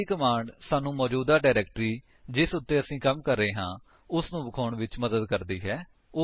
ਅਗਲੀ ਕਮਾਂਡ ਸਾਨੂੰ ਮੌਜੂਦਾ ਡਾਇਰੇਕਟਰੀ ਜਿਸ ਉੱਤੇ ਅਸੀ ਕੰਮ ਕਰ ਰਹੇ ਹਾਂ ਉਸਨੂੰ ਵਿਖਾਉਣ ਵਿੱਚ ਮਦਦ ਕਰਦੀ ਹੈ